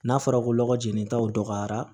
N'a fɔra ko ɔgɔ jenitaw dɔgɔyara